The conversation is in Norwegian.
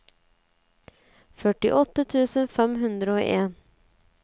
førtiåtte tusen fem hundre og en